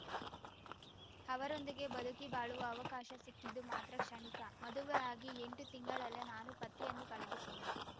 ಅವರೊಂದಿಗೆ ಬದುಕಿ ಬಾಳುವ ಅವಕಾಶ ಸಿಕ್ಕಿದ್ದು ಮಾತ್ರ ಕ್ಷಣಿಕ ಮದುವೆಯಾಗಿ ಎಂಟು ತಿಂಗಳಲ್ಲೇ ನಾನು ಪತಿಯನ್ನು ಕಳೆದುಕೊಂಡೆ